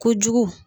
Kojugu